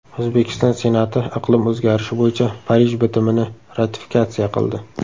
O‘zbekiston Senati iqlim o‘zgarishi bo‘yicha Parij bitimini ratifikatsiya qildi.